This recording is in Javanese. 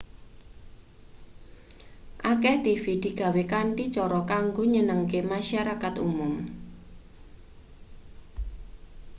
akeh tv digawe kanthi cara kanggo nyenengake masarakat umum